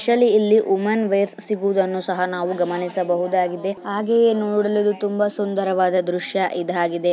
ಇಲ್ಲಿ women vest ಕೂಡ ಸಿಗುವುದನ್ನು ನಾವು ಗಮನಿಸಬಹುದಾಗಿದೆ ಹಾಗೂ ಇದು ನೋಡಲು ತುಂಬಾ ಸುಂದರವಾದ ದೃಶ್ಯ ಇದಾಗಿದೆ.